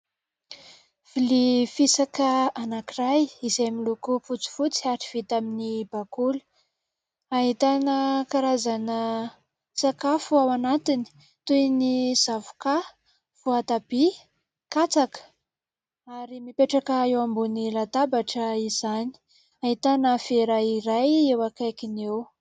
Vilia fisaka anankiray izay miloko fotsifotsy ary vita amin'ny bakoly. Ahitana karazana sakafo ao anatiny toy ny zavokà, voatabia, katsaka ary mipetraka eo ambony latabatra izany. Ahitana vera iray eo akaikiny eo.